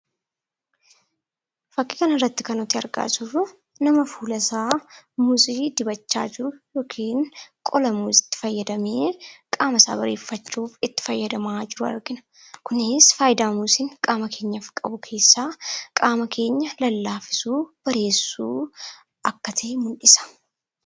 Fakkii kana irratti kan argaa jiruu nama fuulaa isaa Muuzii dibachaa jiruu yookiin qolaa Muziitti faayadamee qaama isa bareefachuuf itti faayadamaa jiruu argina. Kunis faayiidaa Muuziin qaama keenyaaf qabu keessaa qaama keenyaa lallafisuu, barechuu akka ta'e mul'isa.